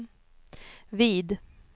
vid